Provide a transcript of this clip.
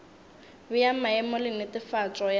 bea maemo le netefatšo ya